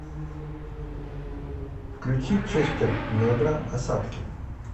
включи честер небро осадки